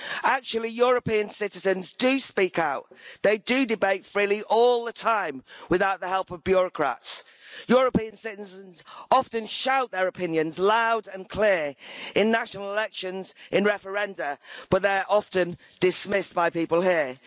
Actually, European citizens do speak out they do debate freely all the time, without the help of bureaucrats. European citizens often shout their opinions loud and clear, in national elections, and in referenda, but they're often dismissed by people here.